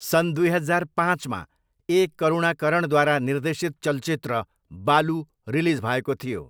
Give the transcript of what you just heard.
सन् दुई हजार पाँचमा ए. करुणाकरणद्वारा निर्देशित चलचित्र बालु रिलिज भएको थियो।